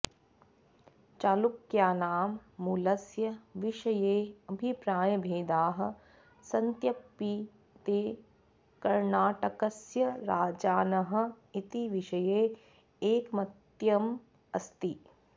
चालुक्यानां मूलस्य विषये अभिप्रायभेदाः सन्त्यपि ते कर्णाटकस्य राजानः इति विषये ऐकमत्यम् अस्ति